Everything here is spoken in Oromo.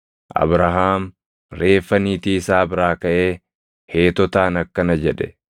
Abrahaam reeffa niitii isaa biraa kaʼee Heetotaan akkana jedhe;